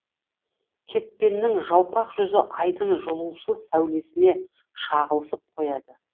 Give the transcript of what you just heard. кетпеннің жалпақ жүзі айдың жылусыз сәулесіне шағылысып қояды